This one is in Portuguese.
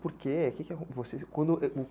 Por quê?